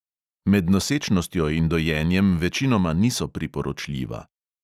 Med nosečnostjo in dojenjem večinoma niso priporočljiva.